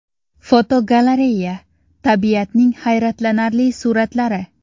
Fotogalereya: Tabiatning hayratlanarli suratlari.